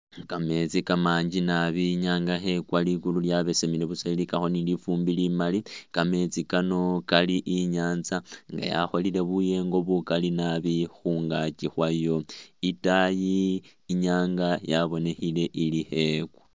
Kameetsi kamanji naabi inyanga khekhwa ligulu lyaabesemile buusa lilikakho ni lifumbi limaali kameetsi Kano ili inyanza nga yakholile buyengo bukaali naabi khungaaki khwayo itaayi inyanga yabonekhile ili khekwa